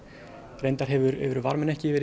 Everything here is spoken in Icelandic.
reyndar hefur varminn ekki